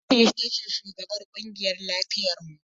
Hannatu ita ce shugabar kungiyar lafiyar mu.